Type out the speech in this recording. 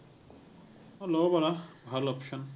অ, ল’ব পাৰা, ভাল option ।